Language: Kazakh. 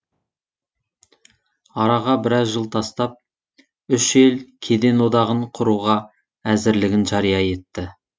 араға біраз жыл тастап үш ел кеден одағын құруға әзірлігін жария етті